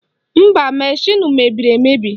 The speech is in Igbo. Mba, mashịnụ mebiri emebi